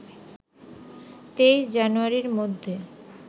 ২৩ জানুয়ারির মধ্যে